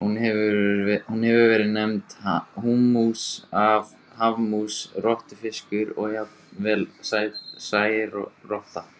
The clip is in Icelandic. Hún hefur verið nefnd hámús, hafmús, rottufiskur og jafnvel særotta.